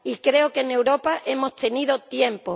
paga. Y creo que en Europa hemos tenido